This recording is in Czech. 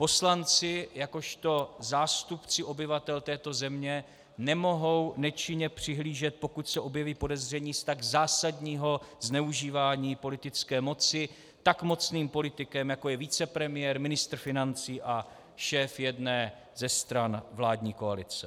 Poslanci jakožto zástupci obyvatel této země nemohou nečinně přihlížet, pokud se objeví podezření z tak zásadního zneužívání politické moci tak mocným politikem, jako je vicepremiér, ministr financí a šéf jedné ze stran vládní koalice.